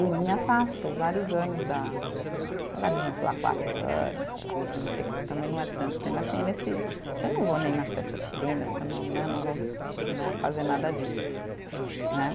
E me afasto vários anos da, sei lá, quatro anos, sei lá, não sei, também não é tanto tempo assim nesse, que eu não vou nem nas festas chilenas, que eu não né, não vou né, fazer nada disso, né.